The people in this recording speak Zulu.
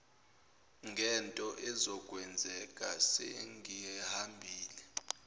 ngento ezokwenzeka sengihambile